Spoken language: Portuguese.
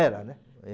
Era, né? Eh